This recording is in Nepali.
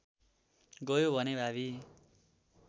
गयो भने भावी